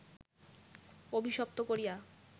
অভিশপ্ত করিয়া